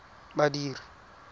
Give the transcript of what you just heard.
badiri